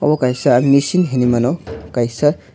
obo kaisa mechine hinui mani kaisa.